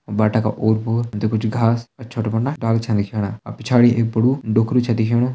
बाटा का ओर पोर हम तो कुछ घास और छोटा मोटा डाला छा दिखेणा और पिछाड़ी एक बाड़ू डोकरू छ दिखेणु ।